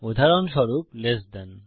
উদাহরণস্বরূপ লেস থান